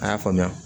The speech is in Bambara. A y'a faamuya